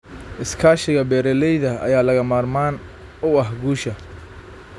Iskaashiga beeralayda ayaa lagama maarmaan u ah guusha.